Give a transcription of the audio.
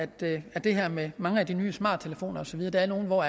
det det her med mange af de nye smarttelefoner og så videre der er nogle hvor